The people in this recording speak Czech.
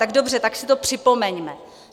Tak dobře, tak si to připomeňme.